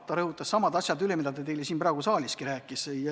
Ta rõhutas samad asjad üle, mida ta teile siin praegugi rääkis.